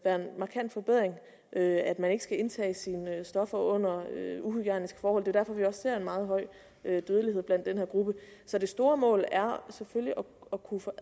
markant forbedring at man ikke skal indtage sine stoffer under uhygiejniske forhold det derfor vi ser en meget høj dødelighed blandt den her gruppe så det store mål er selvfølgelig at kunne få